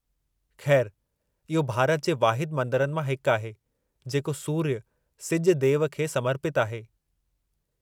ख़ैरु, इहो भारत जे वाहिदु मंदरनि मां हिकु आहे जेको सूर्य, सिजु देव खे समर्पितु आहे।